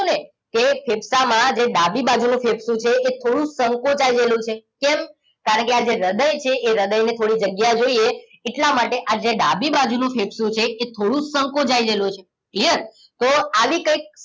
કે ફેફસામાં જે ડાબી બાજુ નું ફેફસું છે એ થોડુંક સંકોચાઇ ગયેલું છે કેમ કારણકે આ જે હૃદય છે એ હૃદયને થોડીક જગ્યા જોઈએ એટલા માટે આજે ડાબી બાજુનું ફેફસું છે એ થોડું સંકોચાયેલું છે clear તો આવી કંઈક